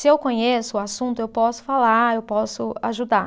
Se eu conheço o assunto, eu posso falar, eu posso ajudar.